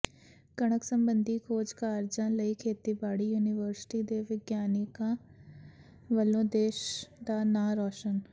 ਕਣਕ ਸੰਬੰਧੀ ਖੋਜ ਕਾਰਜਾਂ ਲਈ ਖੇਤੀਬਾੜੀ ਯੂਨੀਵਰਸਿਟੀ ਦੇ ਵਿਗਿਆਨੀਆਂ ਵੱਲੋਂ ਦੇਸ਼ ਦਾ ਨਾਂ ਰੌਸ਼ਨ